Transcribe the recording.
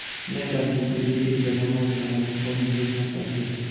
मैं दादी के लिए एक गरम और नरम शाल खरीदना चाहती थी